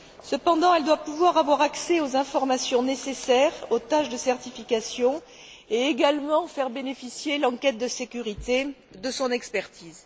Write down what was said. Cependant, elle doit pouvoir avoir accès aux informations nécessaires aux tâches de certification, et également faire bénéficier l'enquête de sécurité de son expertise.